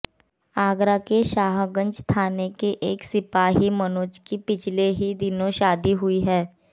आगरा के शाहगंज थाने के एक सिपाही मनोज की पिछले ही दिनों शादी हुई है